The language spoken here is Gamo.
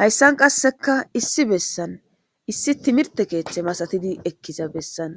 hayssan qasseka issi bessan issi timirte keeththe masatidi ekkiza bessan